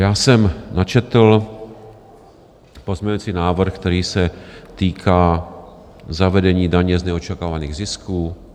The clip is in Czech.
Já jsem načetl pozměňovací návrh, který se týká zavedení daně z neočekávaných zisků.